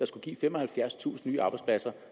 skulle give femoghalvfjerdstusind nye arbejdspladser